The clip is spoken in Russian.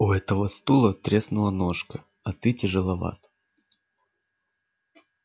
у этого стула треснула ножка а ты тяжеловат